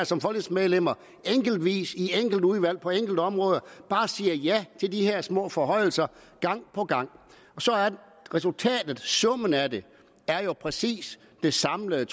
som folketingsmedlemmer enkeltvis i de enkelte udvalg på enkelte områder bare siger ja til de her små forhøjelser gang på gang så er resultatet summen af det jo præcis det samlede